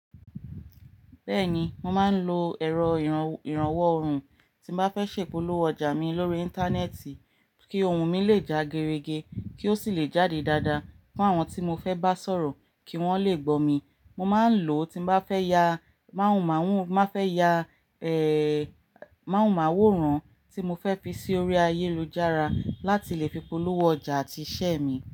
Bẹ́ẹ̀ni, mo máa ń lo ẹ̀rọ ìrànwọ́ ohùn, tí n bá fẹ́ ṣèpolówó ọjà mi lórí Íńtánẹ́ẹ̀tì, kí ohun mi lè já gere ge, kí ó sì lè jáde dáadáa fún àwọn tí mo fẹ́ bá sọ̀rọ̀ kí wọ́n lè gbọ́ mi. Mo máa ń lò ó tí n bá fẹ́ yà máwòmáwó ran tí mo fẹ́ fi sí orí ayélujára láti lè fi polówó ọjà àti iṣẹ́ mi.